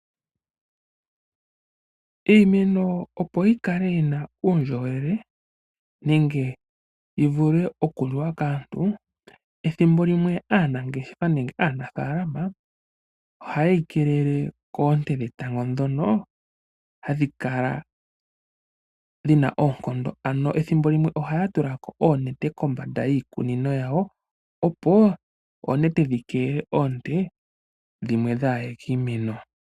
Iimeno opo yi kale yina uundjolowele nenge yi vule oku liwa kaantu ethimbo limwe aanangeshefa nenge aanafalama oha yeyi kelele koonte dhetango dhono hadhi kala dhina oonkondo ano ethimbo limwe ohaya tula ko oonete kombanda yiikunino yawo opo oonete dhi kelele oonte dhimwe dhaa ye kiimeno.